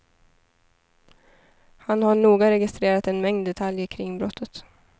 Han har noga registrerat en mängd detaljer kring brottet.